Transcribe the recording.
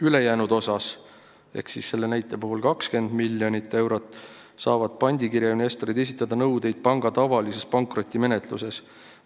Ülejäänu kohta – selle näite puhul 20 miljonit eurot – saavad pandikirja investorid esitada nõudeid panga tavalises pankrotimenetluses.